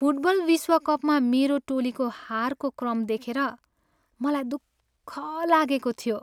Football विश्वकपमा मेरो टोलीको हारको क्रम देखेर मलाई दुःख लागेको थियो।